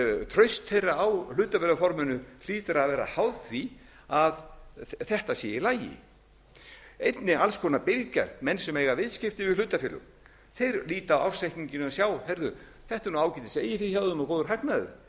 traust þeirra á hlutabréfaforminu hlýtur að vera háð því að þetta sé í lagi einnig alls konar birgjar menn sem eiga viðskipti við hlutafélög þeir líta á ársreikninginn og sjá heyrðu þetta er nú ágætis eigið fé hjá þeim og góður hagnaður